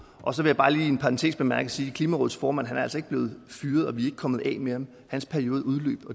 og så vil jeg bare lige i en parentes bemærket sige at klimarådets formand altså ikke er blevet fyret og at vi ikke er kommet af med ham hans periode udløb